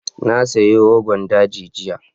Na sayi rogon daji jiya.